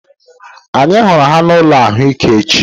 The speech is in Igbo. Anyị hụrụ ha n'ụlọ ahụike echiche